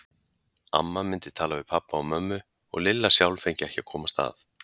Amma myndi tala við pabba og mömmu og Lilla sjálf fengi ekki að komast að.